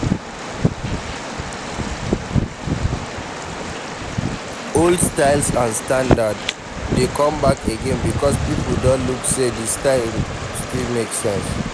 old styles and standard dey come back again because pipo don look sey di style still make sense